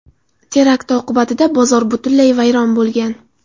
Terakt oqibatida bozor butunlay vayron bo‘lgan.